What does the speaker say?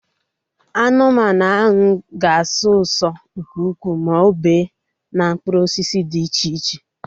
Aṅụ mmanụ aṅụ ga-asọ ụso nke ukwuu ma o bee na mkpụrụ osisi dị iche iche